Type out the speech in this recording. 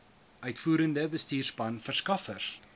uitvoerende bestuurspan verskaffers